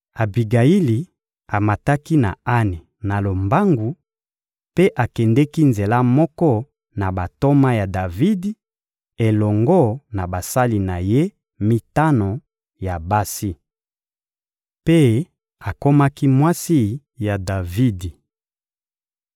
Abigayili amataki na ane na lombangu mpe akendeki nzela moko na bantoma ya Davidi elongo na basali na ye mitano ya basi. Mpe akomaki mwasi ya Davidi.